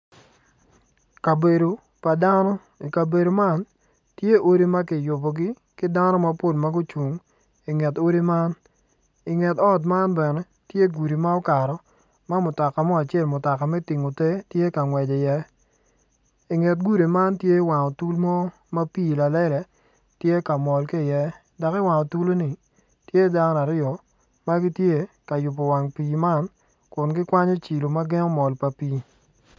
Kabedo pa dano i kabedo man tye odi ma kiyubogi ki dano mapol ma gucung inget odi man inget ot man bene tye gudi ma okato ma mutoka mo acel mutoka me tingo ter tye kangwec iye inget gudi man tye want otul mo ma pii kalele tye kamol ki iye dok iwang otul-li tye dano aryo magi tye ka yubo wang pii man kun gitwanyo cilo magengo mol pa pii